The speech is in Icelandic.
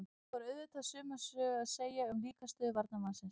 Þá er auðvitað sömu sögu að segja um líkamsstöðu varnarmannsins.